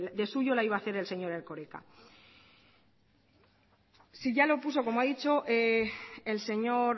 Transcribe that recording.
de suyo la iba a hacer el señor erkoreka si ya lo puso como ha dicho el señor